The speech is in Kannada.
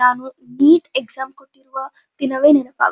ನಾನು ಈ ಎಕ್ಸಾಮ್ ಕೊಟ್ಟಿರುವ ದಿನವೇ ನೆನಪಾಗುತ್ --